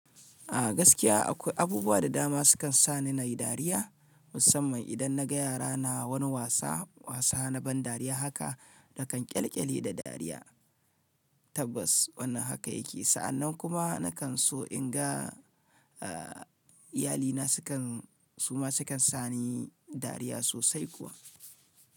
A gaskiya akwai abubuwa da dama sukan sa ni nayi dariya musamman idan naga yara na wani wasa, wasa na ban dariya haka nakan ƙyalƙyali da dariya tabbas wannan haka yake. Sa'annan kuma nakan so in ga, eh iyalina sukan, su ma sukan sa ni dariya sosai kuwa.